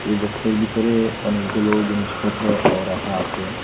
এই বক্সের বিতরে অনেকগুলো জিনিসপত্রও রাখা আসে।